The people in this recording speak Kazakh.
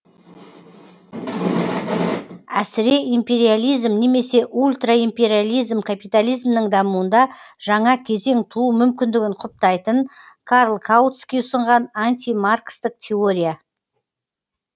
әсіреимпериализм немесе ультраимпериализм капитализмнің дамуында жаңа кезең туу мүмкіндігін құптайтын карл каутский ұсынған антимаркстік теория